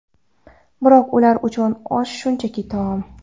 Biroq ular uchun osh shunchaki taom.